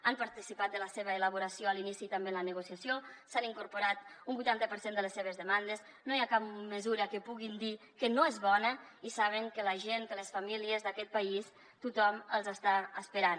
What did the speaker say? han participat de la seva elaboració a l’inici i també en la negociació s’han incorporat un vuitanta per cent de les seves demandes no hi ha cap mesura que puguin dir que no és bona i saben que la gent que les famílies d’aquest país tothom els està esperant